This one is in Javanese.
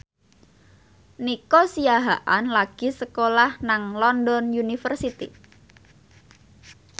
Nico Siahaan lagi sekolah nang London University